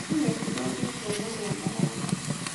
Nyoni nĩ cithũkĩtie mũhĩa mũgunda